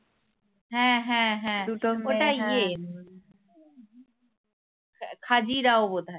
হ্যাঁ হ্যাঁ হ্যাঁ খাজিরাও বোধ হয়